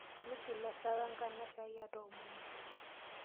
Migil esahau enkanashe ai atoomono.